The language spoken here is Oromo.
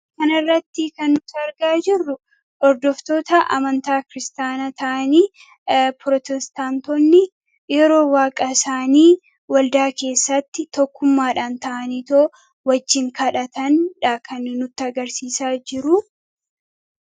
kana irratti kan nuti argaa jirru hordoftoota amantaa kiristaanaa ta'anii yeroo waaqaa isaanii waldaa keessatti tokkummaadhaan ta'anii osoo waaliin kadhataa jiraniiti kan nutti agarsiisaa jiruu